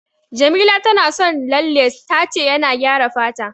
Jamila tana son lalle, ta ce yana gyara fata.